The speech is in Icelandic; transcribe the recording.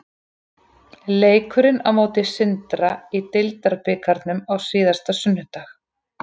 Leikurinn á móti Sindra í deildarbikarnum á síðasta sunnudag.